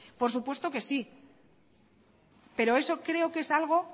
por supuesto que sí pero eso creo que es algo